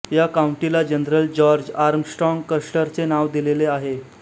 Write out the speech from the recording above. या काउंटीला general George Armstrong कस्टरचे नाव दिलेले आहे